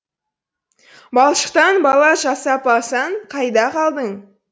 балшықтан бала жасап алсаң қайда қалдың